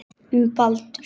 Um Baldur.